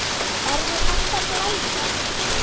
Er þér hætt að blæða?